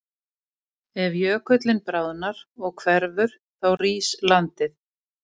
Ef jökullinn bráðnar og hverfur þá rís landið.